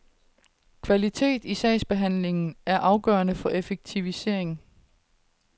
Kvalitet i sagsbehandlingen er afgørende for effektivisering.